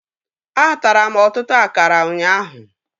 Atara m ọtụtụ akara ụnyaahụ